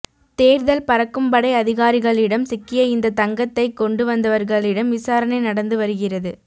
தேர்தல் பறக்கும்படை அதிகாரிகளிடம் சிக்கிய இந்த தங்கத்தை கொண்டு வந்தவர்களிடம் விசாரணை நடந்து வருகிறது